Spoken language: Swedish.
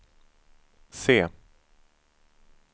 C